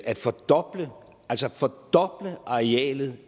at fordoble altså fordoble arealet